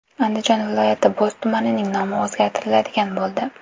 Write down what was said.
Andijon viloyati Bo‘z tumanining nomi o‘zgartiriladigan bo‘ldi .